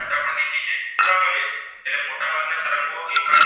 એક માં તરંગો